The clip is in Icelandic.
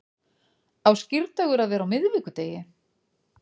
Á skírdagur að vera á miðvikudegi